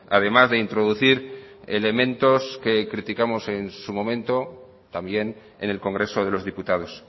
además de introducir elementos que criticamos en su momento también en el congreso de los diputados